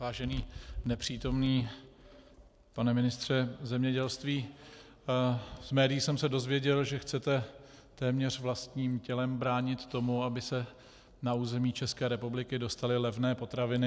Vážený nepřítomný pane ministře zemědělství, z médií jsem se dozvěděl, že chcete téměř vlastním tělem bránit tomu, aby se na území České republiky dostaly levné potraviny.